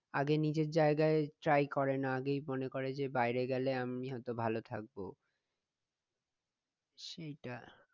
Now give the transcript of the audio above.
আগে নিজের জায়গায় try করে না, আগেই মনে করে যে বাইরে গেলে আমি হয়ত ভাল থাকবো সেইটা